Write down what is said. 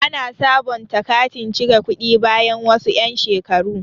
Ana sabonta katin cire kuɗi bayan wasu yan' shekaru.